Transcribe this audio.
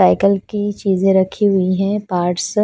cycle की चीज़े रखी हुई है पार्ट्स --